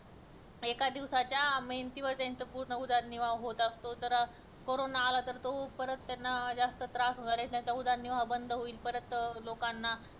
एका दिवसाच्या मेहनतीवर त्यांचा उदरनिर्वाह होत असतो तर करोना आला तर तो परत त्यांना जास्त त्रास होणार ये त्यांचा उदरनिर्वाह बंद होणार ये परत लोकांना